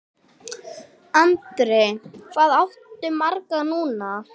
Andri: Hvað áttu marga núna?